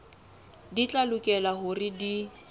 di tla lokela hore di